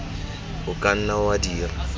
o ka nna wa dira